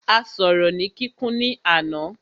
A sọ̀rọ̀ ni kíkún ní àná.